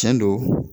Tiɲɛ don